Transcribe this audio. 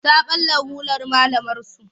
Ta ɓalla rular malamarsu.